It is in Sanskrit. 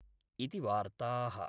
इति वार्ताः।।